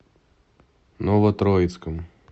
новотроицком